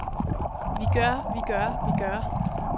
vigør vigør vigør